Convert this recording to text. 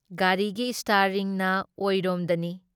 ꯒꯥꯔꯤꯒꯤ ꯏꯁꯇ꯭ꯌꯥꯔꯤꯡꯅ ꯑꯣꯏꯔꯣꯝꯗꯅꯤ ꯫